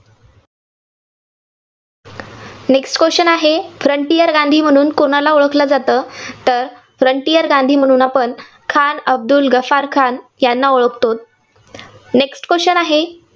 next question आहे frontier Gandhi म्हणून कोणाला ओळखलं जातं? तर frontier गांधी म्हणून आपण खान अब्दुल गफार खान यांना ओळखतो. next question आहे.